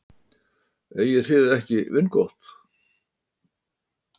Eigið þið ekki vingott?